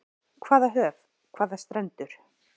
Hvaða höf, hvaða strendur.